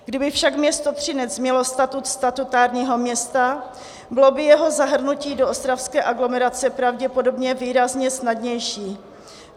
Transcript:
Kdyby však město Třinec mělo statut statutárního města, bylo by jeho zahrnutí do ostravské aglomerace pravděpodobně výrazně snadnější.